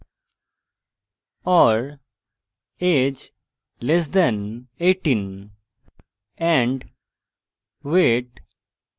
or age less than 18